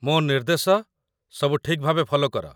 ମୋ ନିର୍ଦ୍ଦେଶ ସବୁ ଠିକ୍ ଭାବେ ଫଲୋ କର